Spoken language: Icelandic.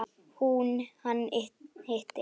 Hún: Hann hitti.